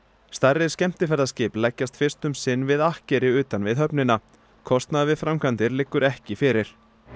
stærri skemmtiferðaskip leggjast fyrst um sinn við akkeri utan við höfnina kostnaður við framkvæmdir liggur ekki fyrir